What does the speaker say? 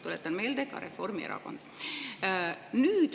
Tuletan meelde: ka Reformierakond.